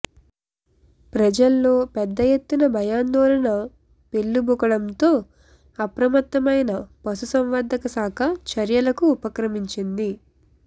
ప్రజల్లో పెద్ద ఎత్తున భయాందోళన పెల్లుబుకడంతో అప్రమత్తమైన పశు సంవర్ధక శాఖ చర్యలకు ఉపక్రమించింది